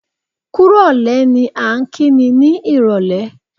Kúrò lẹ́ ni à ń kí ni, ní ìrólé.